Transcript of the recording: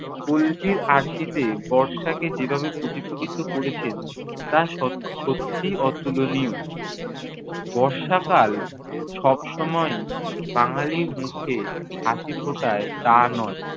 পল্লীর আরশিতে বর্ষাকে যেভাবে প্রতিফলিত করেছেন, তা স~ সত্যিই অতুলনীয়। বর্ষাকাল সবসময় বাঙালির মুখে হাসি ফোটায়, তা নয়।